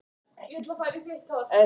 Af því hún ætlaði.